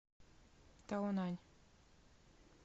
таонань